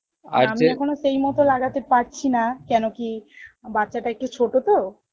এখনো সেই মত লাগাতে পারছি না কেন কি বাচ্চাটা একটু ছোটো তো